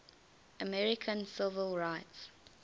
american civil rights